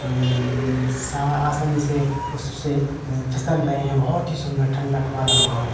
आ मम्म सा आसानी से उससे एं फिसल रहे हैं। बहोत ही सुंदर ठंडक वाला माहौल है।